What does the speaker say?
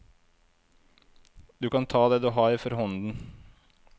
Du kan ta det du har for hånden.